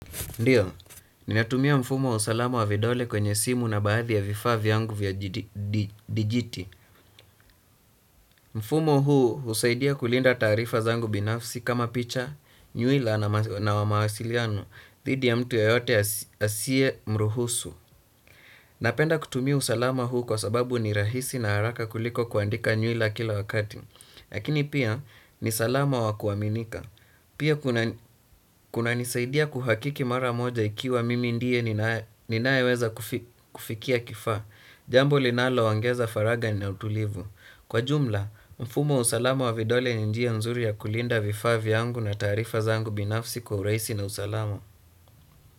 Ndiyo, ninatumia mfumo wa usalama wa vidole kwenye simu na baadhi ya vifaa vyangu vya dijiti. Mfumo huu husaidia kulinda taarifa zangu binafsi kama picha, nyuila na mawasiliano. Dhidi ya mtu yoyote asie mruhusu. Napenda kutumia usalama huu kwa sababu ni rahisi na haraka kuliko kuandika nyuila kila wakati. Lakini pia, ni salama wa kuwaminika. Pia kuna nisaidia kuhakiki mara moja ikiwa mimi ndiye ninaeweza kufikia kifaa. Jambo linalo ongeza faraga na utulivu. Kwa jumla, mfumo wa usalama wa vidole ni njia nzuri ya kulinda vifaa vyangu na tarifa zangu binafsi kwa uraisi na usalama.